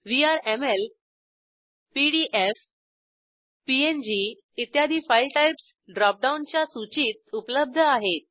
VRML PDF PNG इत्यादी file types ड्रॉपडाऊनच्या सूचीत उपलब्ध आहेत